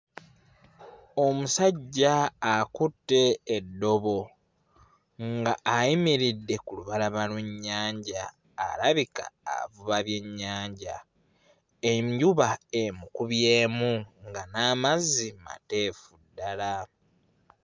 Omusajja akutte eddobo nga ayimiridde ku lubalama lw'ennyanja alabika avuba byennyanja enjuba emukubyemu nga n'amazzi mateefu ddala.